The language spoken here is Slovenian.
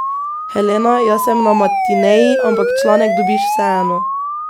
Helena, jaz sem na matineji, ampak članek dobiš vseeno.